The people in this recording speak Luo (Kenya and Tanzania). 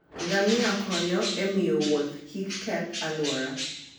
Ngamia konyo e miyo wuoth kik keth alwora.